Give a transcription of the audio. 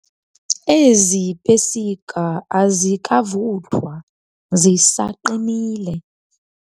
Ezi pesika azikavuthwa zisaqinile.